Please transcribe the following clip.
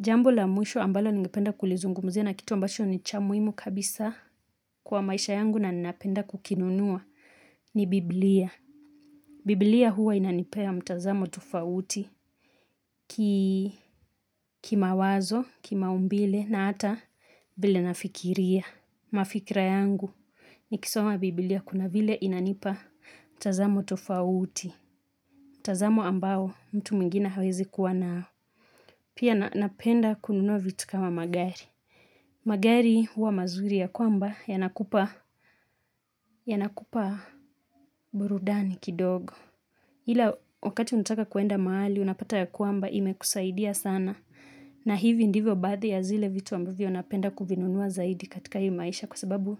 Jambo la mwisho ambalo ningipenda kulizungumzia na kitu ambacho ni cha muhimu kabisa kwa maisha yangu na ninapenda kukinunua ni Bibilia. Bibilia huwa inanipea mtazamo tufauti kimawazo, kimaumbile na hata vile nafikiria. Mafikira yangu, nikisoma Bibilia kuna vile inanipa mtazamo tufauti. Mtazamo ambao mtu mwingine hawezi kuwa nao. Pia napenda kununua vitu kama magari. Magari huwa mazuri ya kwamba yanakupa burudani kidogo Hila wakati unataka kwenda mahali unapata ya kwamba imekusaidia sana na hivi ndivyo baadhi ya zile vitu ambavyo napenda kuvinunua zaidi katika hii maisha Kwa sababu